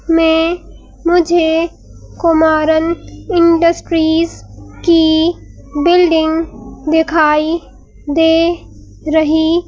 में मुझे कुमारन इंडस्ट्रीज की बिल्डिंग दिखाई दे रही--